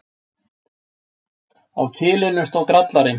Á kilinum stóð Grallarinn.